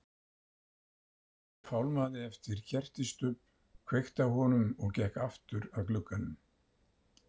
Thomas fálmaði eftir kertisstubb, kveikti á honum og gekk aftur að glugganum.